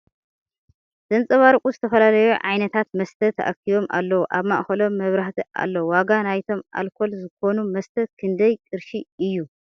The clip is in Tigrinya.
ዘንፀባርቁ ዝተፈላለዩ ዕይነታት መስተ ተኣኪቦም ኣለዉ ኣብ ማእከሎም መብራህቲ ኣሎ ። ዋጋ ናይቶም ኣልኮል ዝኮኑ መስተ ክንደይ ቅርሺ እዩ ?